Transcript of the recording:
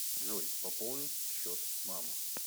джой пополнить счет мама